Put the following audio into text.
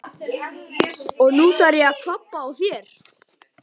Og nú þarf ég að kvabba á þér!